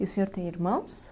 E o senhor tem irmãos?